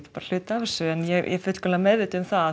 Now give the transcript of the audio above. bara hluti af þessu en ég er fullkomlega meðvituð um það að